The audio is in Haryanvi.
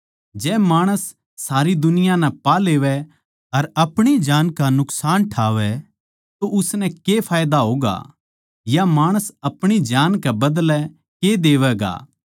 जै माणस सारी दुनिया नै पा लेवै अर अपणी जान का नुकसान ठावै तो उसनै के फायदा होगा या माणस अपणी जान कै बदले के देवैगा